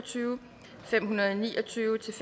syv fem hundrede og ni og tyve til